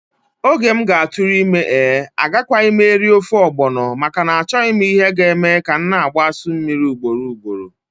Oge m ga-atụrụ ime ee! Agakwaghị m eri ofe ogbono, maka na-achoghi m ihe ga eme ka m na-agbaa asụ mmiri ugboro ugboro.